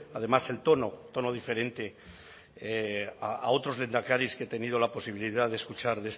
además el tono tono diferente a otros lehendakaris que he tenido la posibilidad de escuchar